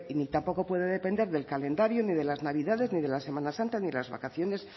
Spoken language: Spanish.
ni tampoco puede depender del calendario ni de las navidades ni de la semana santa ni de las vacaciones